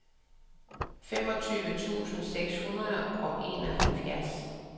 femogtyve tusind seks hundrede og enoghalvfjerds